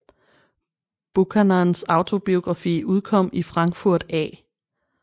Buchanans autobiografi udkom i Frankfurt a